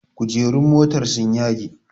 Kujerun motar sun yage